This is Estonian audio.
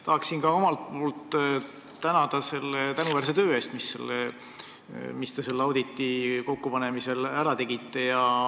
Tahan ka omalt poolt tänada selle tänuväärse töö eest, mis te selle auditiga ära tegite.